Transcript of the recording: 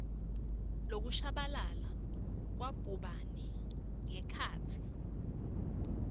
lokusabalala kwabhubhane ngekhatsi